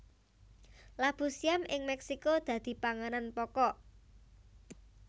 Labu siam ing Mexico dadi panganan pokok